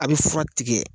A' bɛ fura tigɛ